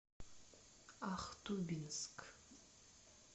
ахтубинск